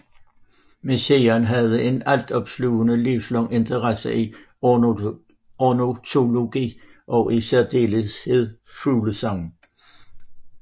Messiaen havde en altopslugende livslang interesse for ornitologi og i særdeleshed fuglesang